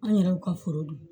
An yɛrɛ y'u ka foro don